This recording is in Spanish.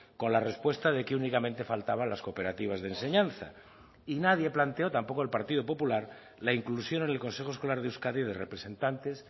con la respuesta de que únicamente faltaban las cooperativas de enseñanza y nadie planteó tampoco el partido popular la inclusión en el consejo escolar de euskadi de representantes